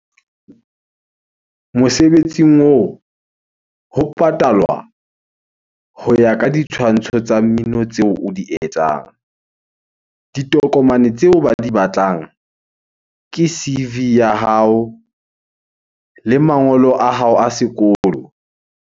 Mosebetsing oo ho patalwa ho ya ka ditshwantsho tsa mmino tseo o di etsang. Ditokomane tseo ba di batlang ke C_V ya hao le mangolo a hao a sekolo.